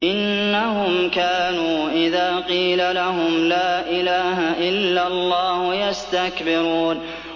إِنَّهُمْ كَانُوا إِذَا قِيلَ لَهُمْ لَا إِلَٰهَ إِلَّا اللَّهُ يَسْتَكْبِرُونَ